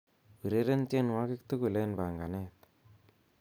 ureren tienywogik tugul en panganet